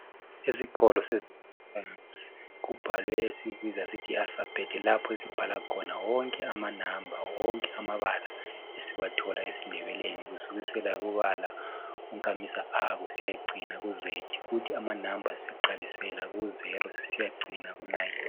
Esikolo saphansi kubhalwe esikubiza sithi yi alifabhethi lapho esibhala khona wonke amanamba wonke amabala esiwathola esindebeleni kusukisela kubala unkamisa(a) kusiya cina ku (z) kuthi amanamba siqalisela ku zero sisiyacina ku nayini.